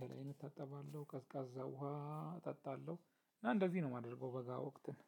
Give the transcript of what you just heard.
ገላዬን እታጠባለሁ ቀዝቃዛ ውሃ እጣለሁ እና እንደዚህ ነው የማደርገው በጋ ወቅትን።